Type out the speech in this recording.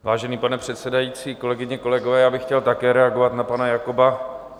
Vážený pane předsedající, kolegyně, kolegové, já bych chtěl také reagovat na pana Jakoba.